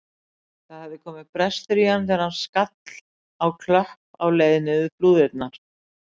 Það hafði komið brestur í hann þegar hann skall á klöpp á leið niður flúðirnar.